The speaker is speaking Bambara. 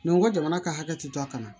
n ko jamana ka hakɛ ti taa ka na